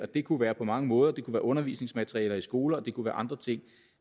det kunne være på mange måder det kunne være undervisningsmaterialer i skoler og det kunne være andre ting